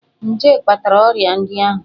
Nje kpatara ọrịa ndị ahụ.